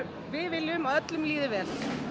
við viljum að öllum líði vel